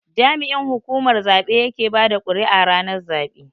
jami'in hukumar zabe yake bada kuri'a ranar zabe.